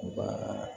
U ka